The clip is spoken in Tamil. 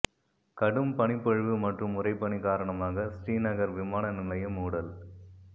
கடும் பனிப்பொழிவு மற்றும் உறைபனி காரணமாக ஸ்ரீநகர் விமான நிலையம் மூடல்